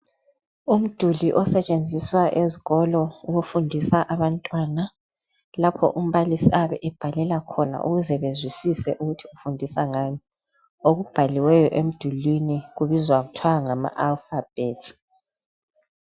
Umduli osetshenziswa ezikolo ukufundisa abantwana lapho umbalisi oyabe ebhalela khona ukuze bezwisise okubhaliweyo emdulwini kubizwa kuthwa ngama alphabet.